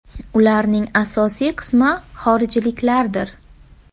Ularning asosiy qismi xorijliklardir.